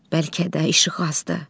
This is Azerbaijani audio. Bəlkə də işıq azdır.